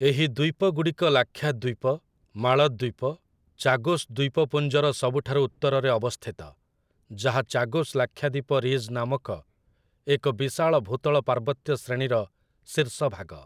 ଏହି ଦ୍ଵୀପଗୁଡ଼ିକ ଲାକ୍ଷାଦ୍ଵୀପ, ମାଳଦ୍ଵୀପ, ଚାଗୋସ୍ ଦ୍ଵୀପପୁଞ୍ଜର ସବୁଠାରୁ ଉତ୍ତରରେ ଅବସ୍ଥିତ, ଯାହା 'ଚାଗୋସ୍ ଲାକ୍ଷାଦ୍ଵୀପ' ରିଜ୍ ନାମକ ଏକ ବିଶାଳ ଭୂତଳ ପାର୍ବତ୍ୟ ଶ୍ରେଣୀର ଶୀର୍ଷଭାଗ ।